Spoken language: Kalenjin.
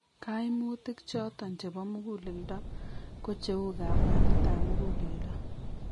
Kaimutik choton chebo mugulleldo ko cheu kabwanet ab mugulelldo